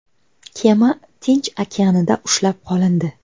Kema Tinch okeanida ushlab qolindi.